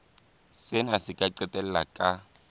sena se ka qetella ka